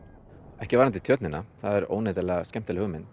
ekki varðandi Tjörnina það er óneitanlega skemmtileg hugmynd